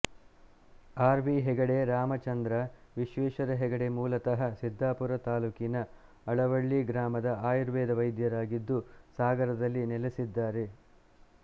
R V Hegde Ramachandra Vishweshwara Hegde ಮೂಲತಃ ಸಿದ್ದಾಪುರ ತಾಲುಕಿನ ಅಳವಳ್ಳಿ ಗ್ರಾಮದ ಆಯುರ್ವೇದ ವೈದ್ಯರಾಗಿದ್ದು ಸಾಗರದಲ್ಲಿ ನೆಲೆಸಿದ್ದಾರೆ